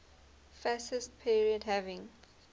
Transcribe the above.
fascist period having